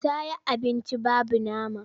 Ta yi abunci babu nama.